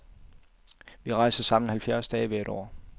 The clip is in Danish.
Vi rejser sammen halvfjerds dage hvert år.